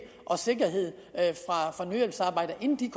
og sikkerhed for nødhjælpsarbejdere inden de